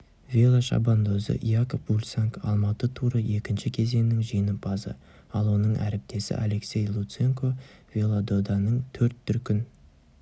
велошабандозы якоб фульсанг алматы туры екінші кезеңінің жеңімпазы ал оның әріптесі алексей луценко велододаның төрт дүркін